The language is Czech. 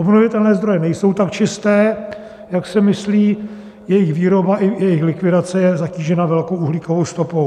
Obnovitelné zdroje nejsou tak čisté, jak se myslí, jejich výroba i jejich likvidace je zatížena velkou uhlíkovou stopou.